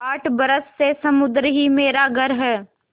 आठ बरस से समुद्र ही मेरा घर है